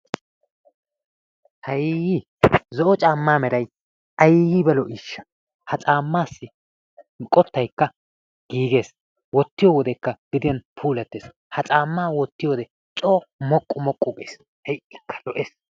Hay! Zo'o caammaa meray ayiba lo'iishsha!. Ha caammaassi qottayikka giigea wottiyo wodekka gediyan puulattes. Ha caammaa wottiyode coo moqqu moqqu gees. Hay"ikka lo'es.